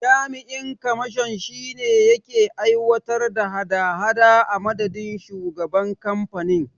Jami'in kamashon shine yake aiwatar da hada hada a madadin shugaban kamfanin.